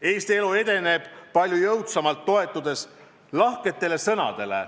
Eesti elu edeneb palju jõudsamalt, toetudes lahketele sõnadele